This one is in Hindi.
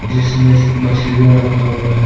जिसमें से मछलियां रखा हुआ है।